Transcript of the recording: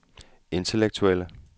intellektuelle